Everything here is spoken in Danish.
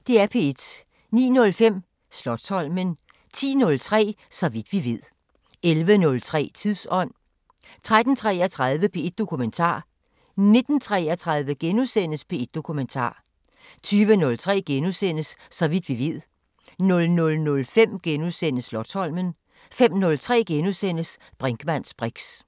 09:05: Slotsholmen 10:03: Så vidt vi ved 11:03: Tidsånd 13:33: P1 Dokumentar 19:33: P1 Dokumentar * 20:03: Så vidt vi ved * 00:05: Slotsholmen * 05:03: Brinkmanns briks *